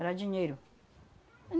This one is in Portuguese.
Era dinheiro.